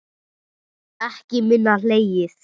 Ekki minna hlegið.